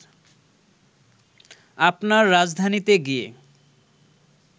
আপনার রাজধানীতে গিয়ে